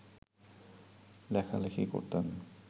লেখালেখি করতেন